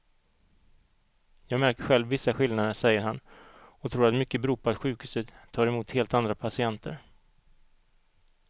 Jag märker själv vissa skillnader, säger han och tror att mycket beror på att sjukhuset tar emot helt andra patienter.